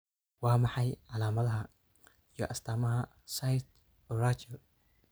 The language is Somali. Waa maxay calaamadaha iyo astaamaha cyst urachal?